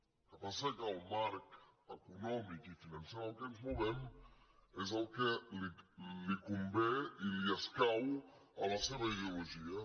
el que passa que el marc econòmic i financer en què ens movem és el que li convé i li escau a la seva ideologia